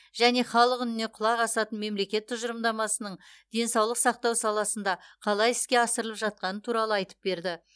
және халық үніне құлақ асатын мемлекет тұжырымдамасының денсаулық сақтау саласында қалай іске асырылып жатқаны туралы айтып берді